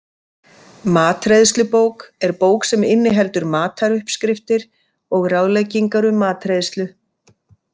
Matreiðslubók er bók sem inniheldur mataruppskriftir og ráðleggingar um matreiðslu.